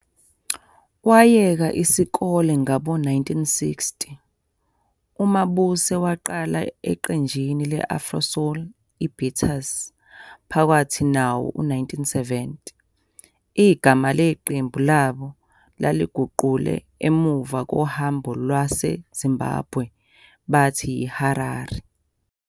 Wayeka isikole ngabo-1960, uMabuse waqala eqenjini le- Afro-soul iBeaters phakathi nawo-1970. igama leqembu labo baliguqule emuva kohambo lwaseZimbabwe bathi yiHarari.